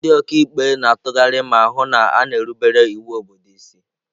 Ndị ọka ikpe na-atụgharị ma hụ na a na-erubere iwu obodo isi.